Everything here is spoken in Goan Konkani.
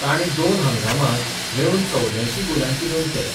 तांणी दोन हंगामांत मेळून चवद्यांयशीं गोलांची नोंद केल्या.